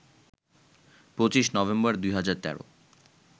২৫ নভেম্বর, ২০১৩